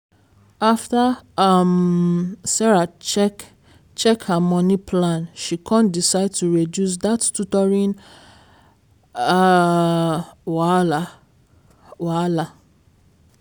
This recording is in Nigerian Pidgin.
after um sarah check check her money plan she con decide to reduce dat tutoring um wahala. wahala.